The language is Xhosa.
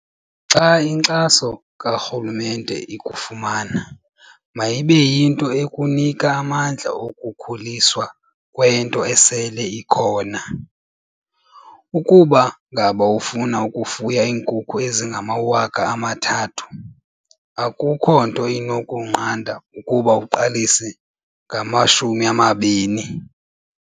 "Xa inkxaso karhulumente ikufumana, mayibe yinto ekunika amandla okukhuliswa kwento esele ikhona. Ukuba ngaba ufuna ukufuya iinkukhu ezingama-3 000, akukho nto inokunqanda ukuba uqalise ngama-20."